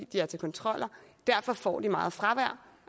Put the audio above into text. de er til kontroller derfor får de meget fravær